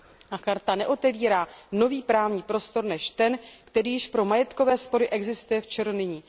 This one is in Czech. A Listina neotevírá nový právní prostor než ten, který již pro majetkové spory existuje v ČR nyní.